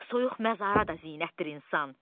Soyuq məzara da zinətdir insan.